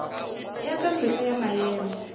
ya ka mehla ya maemo